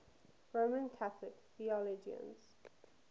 roman catholic theologians